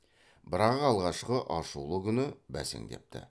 бірақ алғашқы ашулы күні бәсеңдепті